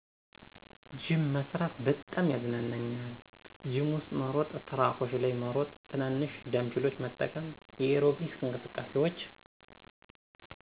ጅም መስራት በጣም ያዝናናኛል። ጅም ውስጥ መሮጫ ትራኮች ላይ መሮጥ፣ ትናንሽ ዳንፔሎችን መጠቀም፣ የኤሮቢክስ አንቅስቃሴዎች።